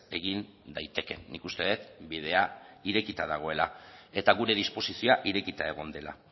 egin daitekeen nik uste dut bidea irekita dagoela eta gure disposizioa irekita egon dela